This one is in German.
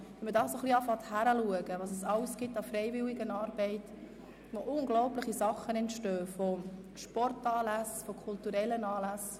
Beim genaueren Hinschauen sieht man, was es alles an Freiwilligenarbeit gibt und dass dort unglaubliche Dinge entstehen wie Sport- und kulturelle Anlässe.